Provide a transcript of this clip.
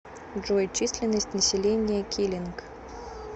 джой численность населения килинг